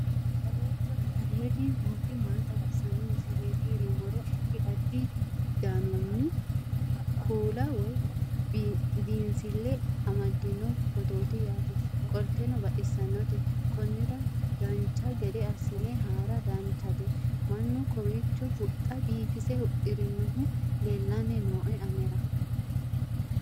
aleenni nooti maa xawisanno misileeti yinummoro addi addi dananna kuula woy biinsille amaddino footooti yaate qoltenno baxissannote konnira dancha gede assine haara danchate mannu kawiicho huxxa biifise huxxirinohu leellanni nooe anera